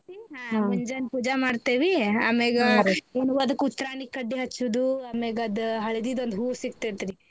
ಹಾ ಮುಂಜಾನ್ ಪೂಜೆ ಮಾಡ್ತಿವಿ ಆಮೆಗಾ ಅದಕ್ಕ ಉತ್ರಾಣಿ ಕಡ್ಡಿ ಹಚ್ಚುದು ಆಮ್ಯಾಗ ಅದ್ ಹಳ್ದೀದ್ ಒಂದ್ ಹೂ ಸಿಗ್ತೆತ್ ರ್ರೀ.